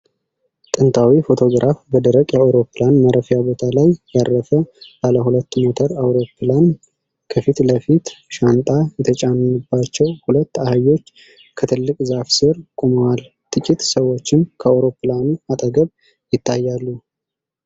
ጥንታዊ ፎቶግራፍ በደረቅ የአውሮፕላን ማረፊያ ቦታ ላይ ያረፈ ባለሁለት ሞተር አውሮፕላን ። ከፊት ለፊት፣ ሻንጣ የተጫነባቸው ሁለት አህዮች ከትልቅ ዛፍ ስር ቆመዋል፤ ጥቂት ሰዎችም ከአውሮፕላኑ አጠገብ ይታያሉ።